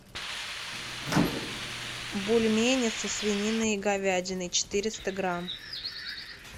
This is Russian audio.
бульмени со свининой и говядиной четыреста грамм